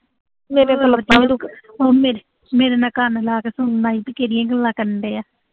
ਮੇਰੇ, ਮੇਰੇ ਨਾਲ ਕੰਨ ਲਾ ਕੇ ਕਰਨ ਡਿਆ।